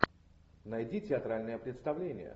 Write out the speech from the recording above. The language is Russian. найди театральное представление